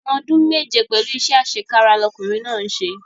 Ẹ̀wọ̀n ọdún méje pẹ̀lú iṣẹ́ àṣekára ni ọkùnrin náà ń ṣe